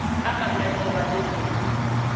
a mamel wa le ho